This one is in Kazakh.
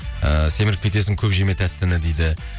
ііі семіріп кетесің көп жеме тәттіні дейді